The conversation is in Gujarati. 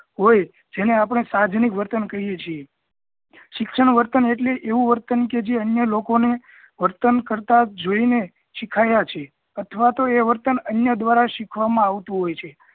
હોય જેને આપણે સાહજનિક વર્તન કહીએ છીએ શિક્ષણ વર્તન એટલે એવું વર્તન કે જે અન્ય લોકો ને વર્તન કરતા જોઇને શીખ્યા છે અથવા તો એ વર્તન અન્ય દ્વારા શીખવામાં આવતું હોઈ છે